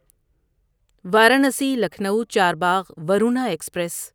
Varanasi Lucknow Charbagh Varuna express